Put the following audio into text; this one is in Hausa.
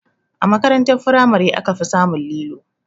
A makaranta firamare aka fi samun lilo